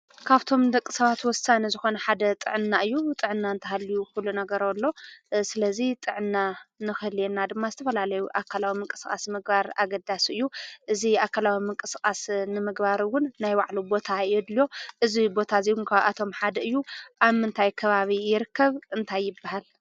ካፍቶም ንደቂ ሰባት ወሳኒ ዝኾነ ሓደ ጥዕና እዩ። ጥዕና እንተሃልዩ ኩሉ ነገር ኣሎ። ስለዚ ጥዕና ንኽህልየና ድማ ዝተፈላለዩ ኣካላዊ ምንቅስቓስ ምግባር ኣገዳሲ እዩ። እዚ ኣካላዊ ምንቅስቓስ ንምግባር እዉን ናይ ባዕሉ ቦታ የድልዮ። እዚ ቦታ እዚ እዉን ካብኣቶም ሓደ እዩ። ኣብ ምንታይ ከባቢ ይርከብ? እንታይ ይብሃል?